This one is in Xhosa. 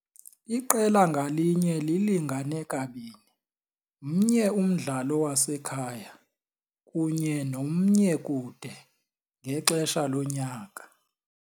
Iqela ngalinye lilingane kabini 1 umdlalo wasekhaya kunye no-1 kude ngexesha lonyaka.